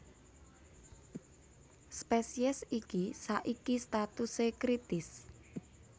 Spésiés iki saiki statusé kritis